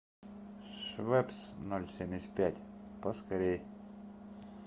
швепс ноль семьдесят пять поскорей